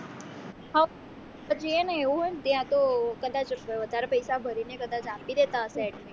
પછી એવું હોય ને ત્યાં તો કદાચ વધારે પૈસા ભરી ને કદાચ આપી દેતા હશે admission